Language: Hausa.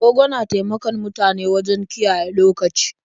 Agogo na taimakon mutane wajen kiyaye lokaci.